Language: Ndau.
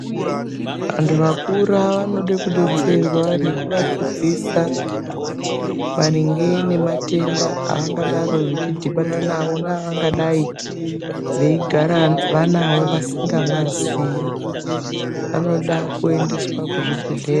Vantu vakura vanoda kudetserwa nekuvadzidzisa maringe nematenda avangadaro echidhibana nawo neavangadai veigara vanawo vasingamaziyi. Vanoda kuendeswa kuzvibhedhlera.